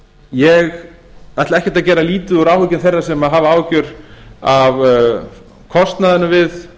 ég ætla ekkert að gera lítið úr áhyggjum þeirra sem hafa áhyggjur af kostnaðinum við